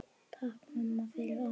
Takk mamma, fyrir allt.